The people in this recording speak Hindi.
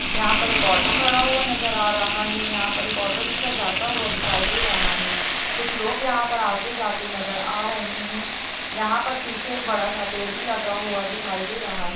यहाँ पर एक ऑटो खड़ा हुआ नजर आ रहा है। यहाँ पर एक ऑटो रिक्शा जाता हुआ दिखाई दे रहा है। कुछ लोग यहाँ पर आते-जाते नजर आ रहे हैं। यहाँ पर पीछे एक बड़ा-सा पेड़ भी लगा हुआ दिखाई दे रहा है।